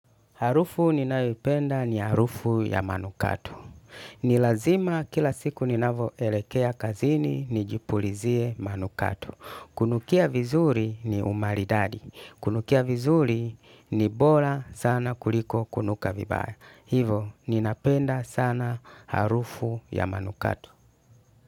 Harufu ninayo ipenda ni harufu ya manukato. Nilazima kila siku ninavyo elekea kazini, nijipulizie manukato. Kunukia vizuri ni umaridadi. Kunukia vizuri ni bora sana kuliko kunuka vibaya. Hivyo, ninapenda sana harufu ya manukato.